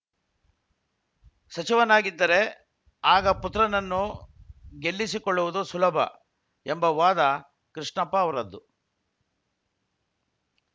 ಸಚಿವನಾಗಿದ್ದರೆ ಆಗ ಪುತ್ರನನ್ನು ಗೆಲ್ಲಿಸಿಕೊಳ್ಳುವುದು ಸುಲಭ ಎಂಬ ವಾದ ಕೃಷ್ಣಪ್ಪ ಅವರದ್ದು